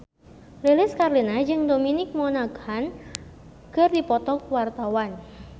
Lilis Karlina jeung Dominic Monaghan keur dipoto ku wartawan